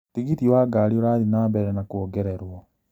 Tigiti wa ngari ũrathiĩ na mbere na kũongererwo